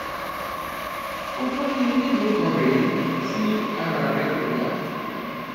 ọjọ bíi mélòó kan rèé tí ara rẹ kò yá